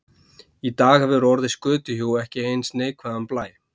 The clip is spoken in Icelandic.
Í dag hefur orðið skötuhjú ekki eins neikvæðan blæ.